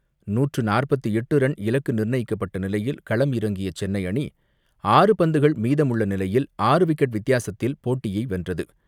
நூற்று நாற்பத்து எட்டு ரன் இலக்கு நிர்ணயிக்கப்பட்ட நிலையில் களம் இறங்கிய சென்னை அணி, ஆறு பந்துகள் மீதமுள்ள நிலையில் ஆறு விக்கெட் வித்தியாசத்தில் போட்டியை வென்றது.